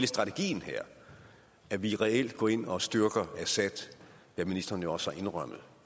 strategien her at vi reelt går ind og styrker assad hvad ministeren jo også har indrømmet